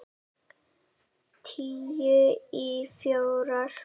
Tíu í fjórar.